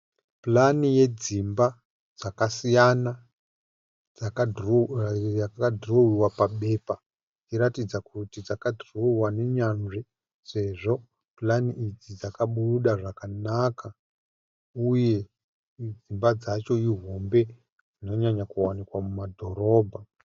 Purani yedzimba dzakasiyana yaka dhirowewa papepa. Ichiratidza kuti dzakadhirowewa nenzvanzi sezvo purani idzi dzakabuda zvakanaka uye dzimba dzacho ihombe dzinonyanya kuwanikwa muma dhorobha.